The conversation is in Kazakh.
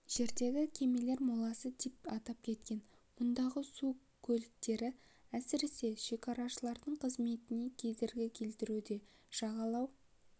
жерді кемелер моласы деп атап кеткен мұндағы су көліктері әсірес шекарашылардың қызметіне кедергі келтіруде жағалау